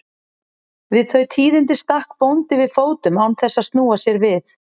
Við þau tíðindi stakk bóndi við fótum án þess að snúa sér við.